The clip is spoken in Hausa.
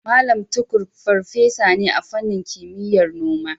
Mallam Tukur farfesa ne a fannin kimiyyar noma.